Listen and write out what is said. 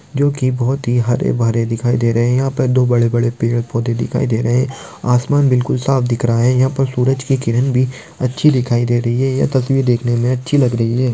जो की बहुत ही हरे- भरे दिखाई दे रहे है। यहाँ पर दो बड़े-बड़े पेड़-पौधे दिखाई दे रहे है। आसमान भी बिल्कुल साफ दिख रहा है। यहाँ सूरज कि किरण भी अच्छी दिखाई दे रही है। यह तस्वीर देखने मे अच्छी लग रही है।